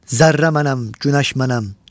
Zərrə mənəm, günəş mənəm.